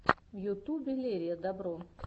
в ютубе лерия добро